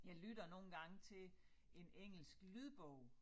Jeg lytter nogle gange til en engelsk lydbog